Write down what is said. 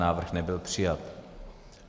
Návrh nebyl přijat.